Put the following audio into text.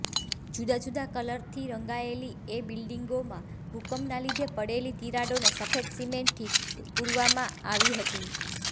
જુદા જુદા કલરથી રંગાયેલી એ બિલ્ડીંગોમાં ભૂકંપના લીધે પડેલી તિરાડોને સફેદ સિમેન્ટથી પૂરવામાં આવી હતી